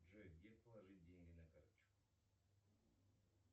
джой где положить деньги на карточку